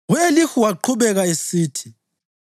U-Elihu waqhubeka esithi: